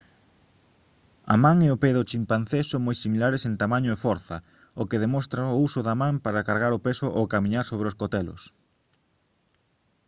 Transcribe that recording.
a man e o pé do chimpancé son moi similares en tamaño e forza o que demostra o uso da man para cargar o peso ao camiñar sobre os cotelos